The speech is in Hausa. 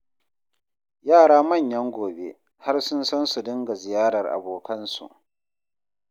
Yara manyan gobe, har sun san su dinga ziyarar abokansu